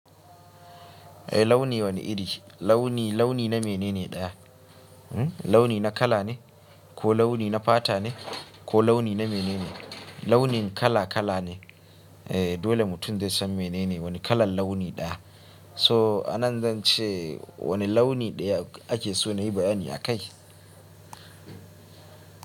Eh launi wane iri? Launi, launi na mene ne ɗaya? Launi na kala ne, ko launi na fata ne, ko launi na mene ne? Launi kala kala ne. Eh dole mutum zai san mene ne wani kalan launi ɗaya. So anan zan ce wane launi ɗaya ake so na yi bayani akaii.